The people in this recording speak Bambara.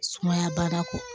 Sumaya baara kɔ